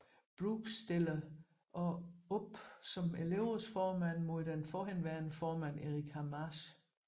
Brooke stiller også op som elevrådsformand imod den forhenværende formand Erica Marsh